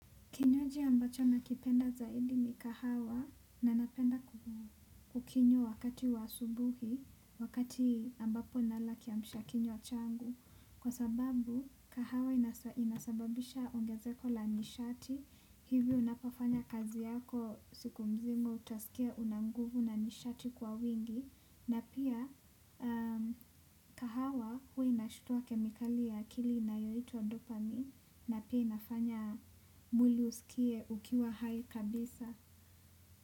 Kinywaji ambacho nakipenda zaidi ni kahawa na napenda kukinywa wakata wa asubuhi wakati nala kiamshakinywa changu. Kwa sababu kahawa inasababisha ongezeko la nishati, hivyo unapofanya kazi yako siku mzima utasikia una nguvu na nishati kwa wingi. Na pia kahawa huwa inashituwa kemikali ya akili na yoituwa dopani. Na pia inafanya mwili uskie ukiwa hai kabisa.